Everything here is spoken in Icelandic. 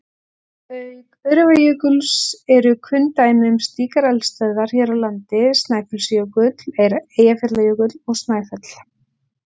Auk Öræfajökuls eru kunn dæmi um slíkar eldstöðvar hér á landi Snæfellsjökull, Eyjafjallajökull og Snæfell.